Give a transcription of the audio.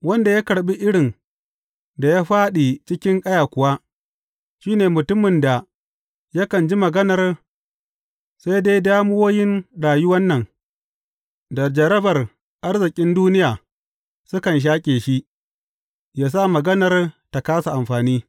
Wanda ya karɓi irin da ya fāɗi cikin ƙaya kuwa, shi ne mutumin da yakan ji maganar, sai dai damuwoyin rayuwan nan da jarrabar arzikin duniya sukan shaƙe shi, yă sa maganar ta kāsa amfani.